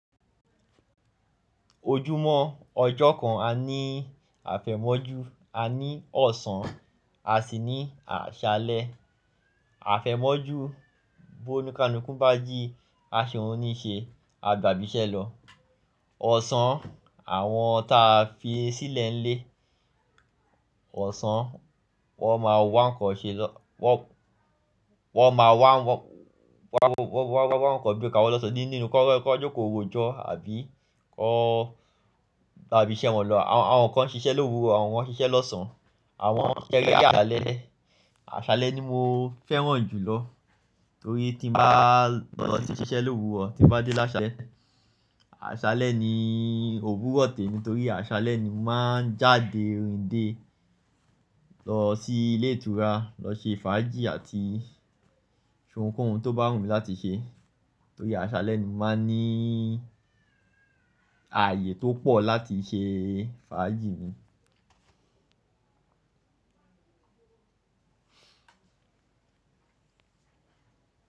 Ojúmọ́ ọjọ́ kan, a ní àfẹ̀mọ́jú, a ní ọ̀sán, a sì ní àṣálẹ́. Àfẹ̀mọ́jú, bó ni ká nu kún bá jí, a ṣòún ní ṣe, a gbà bí iṣẹ́ lọ. Ọ̀sán, àwọn tí a fi sílẹ̀ ń lé, ọ̀sán, wọ́n máa wá ń kọ́ ṣe lọ, wọ́n, wọ́n máa wá, wọ́n, wọ́n, wọ́n, wọ́n, wọ́n máa wá ń kọ́ bí i ka wọn lọ́sàn-án nínú kí wọ́n, kí wọ́n jókòó roojọ́ àbí kọ́, àbí ṣẹ́ wọn lọ. Àwọn kan ń ṣiṣẹ́ lówùurọ̀, àwọn kan ń ṣiṣẹ́ lọ́sàn-án, àwọn kéré ya àṣálẹ́. Àṣálẹ́ ni mo fẹ́ràn jù lọ torí tí mo bá lọ lọ sí iṣẹ́ lówùurọ̀, tí mo bá dé lásálẹ́, àṣálẹ́ ni òwuro temi ni torí àṣálẹ́ ni mo máa ń jáde rinde lọ sí ilé ìtura, lọ ṣe fàájì àti ṣe ohunkóhun tó bá wù mí láti ṣe. Torí àṣálẹ́ ni mo máa ń ní ààyè tó pọ̀ láti ṣe fàájì mi.